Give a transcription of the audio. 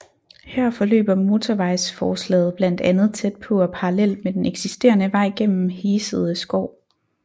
Her forløber motorvejsforslaget blandt andet tæt på og parallelt med den eksisterede vej gennem Hesede Skov